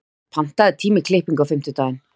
Edda, pantaðu tíma í klippingu á fimmtudaginn.